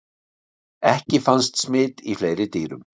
ekki fannst smit í fleiri dýrum